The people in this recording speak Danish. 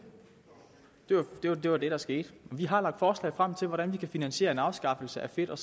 det var det var det der skete vi har lagt forslag frem til hvordan vi kan finansiere en afskaffelse af fedt og